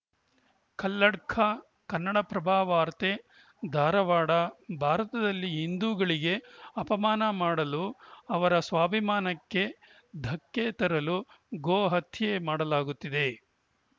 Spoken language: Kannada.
ಕಲ್ಲಡ್ಕ ಕನ್ನಡಪ್ರಭ ವಾರ್ತೆ ಧಾರವಾಡ ಭಾರತದಲ್ಲಿ ಹಿಂದೂಗಳಿಗೆ ಅಪಮಾನ ಮಾಡಲು ಅವರ ಸ್ವಾಭಿಮಾನಕ್ಕೆ ಧಕ್ಕೆ ತರಲು ಗೋ ಹತ್ಯೆ ಮಾಡಲಾಗುತ್ತಿದೆ